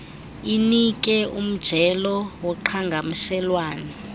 inike umjelo woqhagamshelwano